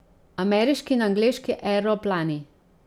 Ameriški in angleški aeroplani.